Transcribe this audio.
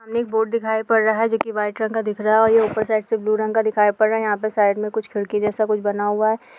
सामने बोर्ड दिखाई पड़ रहा है जो की वाइट रंग का दिख रहा है और ऊपर से ब्लू रंग का दिखाई पद रहा है और ये सामने कुछ खिड़की जैसा दिखाई पड़ रहा है।